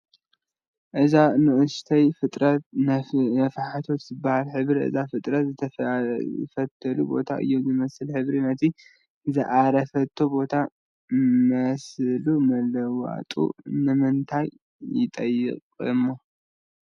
እዛ ንኡሽተይ ፍጥረት ነፋሒቶ ትበሃል፡፡ ሕብሪ እዛ ፍጥረት ንዝዓረፈትሉ ቦታ እዩ ዝመስል፡፡ ሕብሪ ነቲ ዝዓረፈትሉ ቦታ መስሉ ምልውዋጡ ንምንታይ ይጠቕማ?